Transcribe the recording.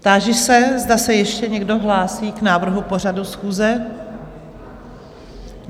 Táži se, zda se ještě někdo hlásí k návrhu pořadu schůze?